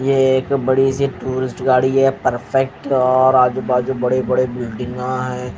ये एक बड़ी सी टूरिस्ट गाड़ी है परफेक्ट और आजू बाजू बड़े बड़े बिल्डिंगा है।